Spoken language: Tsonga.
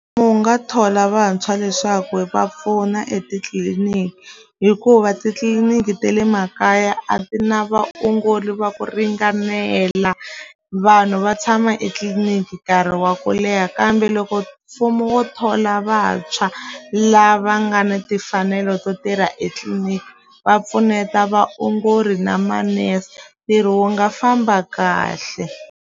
U nga thola vantshwa leswaku va pfuna etitliliniki hikuva titliliniki ta le makaya a ti na vaongori va ku ringanela vanhu va tshama etliliniki nkarhi wa wa ku leha kambe loko mfumo wo thola vantshwa lava nga ni timfanelo to tirha etliliniki va pfuneta vaongori na manese ntirho wu nga famba kahle.